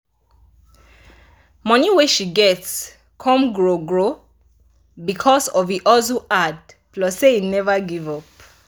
money wey she get come grow grow because of e hustle hard plus say e never give up